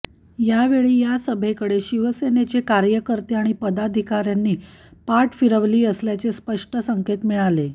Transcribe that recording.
यावेळी या सभेकडे शिवसेनेचे कार्यकर्ते आणि पदाधिकाऱ्यांनी पाठ फिरवली असल्याचे स्पष्ट संकेत मिळाले